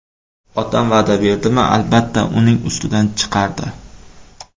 Otam va’da berdimi, albatta, uning ustidan chiqardi.